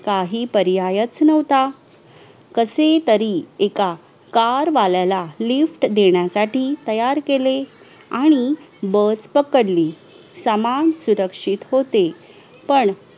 काही पर्यायाचा नव्हता कसे तरी एका car वाल्याला lift देण्यासाठी तयार केले आणि bus पकडकली सामान सुरक्षित होते पण